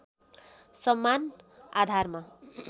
समान आधारमा